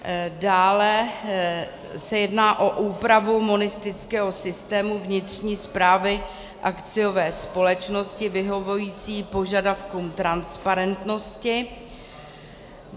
Dále se jedná o úpravu monistického systému vnitřní správy akciové společnosti vyhovující požadavkům transparentnosti.